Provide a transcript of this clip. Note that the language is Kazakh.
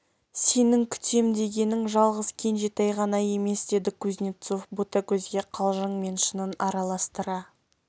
сенің күтем дегенің жалғыз кенжетай ғана емес деді кузнецов ботагөзге қалжың мен шынын араластыра